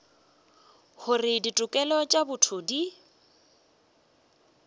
gore ditokelo tša botho di